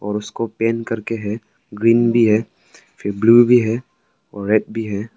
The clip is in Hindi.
उसको पेंट करके है ग्रीन भी है फिर ब्लू भी है रेड भी है।